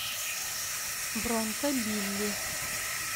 бронко билли